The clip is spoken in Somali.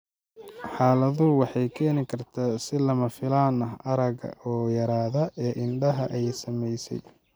Xaaladdu waxay keeni kartaa si lama filaan ah, aragga oo yaraada ee indhaha ay saamaysay.